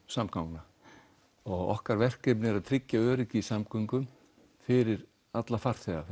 samgangna okkar verkefni er að tryggja öryggi í samgöngum fyrir alla farþega